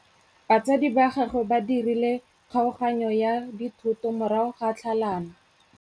Batsadi ba gagwe ba dirile kgaoganyô ya dithoto morago ga tlhalanô.